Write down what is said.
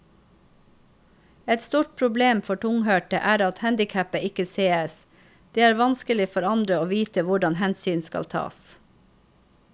Et stort problem for tunghørte er at handicapet ikke sees, det er vanskelig for andre å vite hvordan hensyn skal tas.